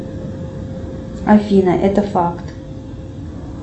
афина это факт